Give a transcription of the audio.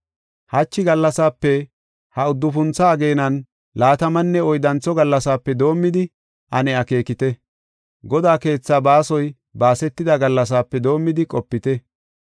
“Hachi gallasaape, ha uddufuntho ageenan laatamanne oyddantho gallasaape doomidi ane akeekite. Godaa keethaa baasoy baasetida gallasaape doomidi qopite.